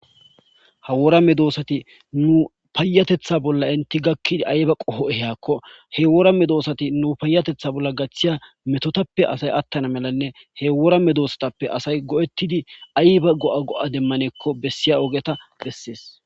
Ha wora medosati nu payyateththa bolla entti enti gakkid ayba qoha ehiyakko he wora medosati nu bolla gaththiya metotappe asay attana malanne he wora medosatappe asy go'etidi ayba go'a go'a demmanakko bessiya ogeta besses.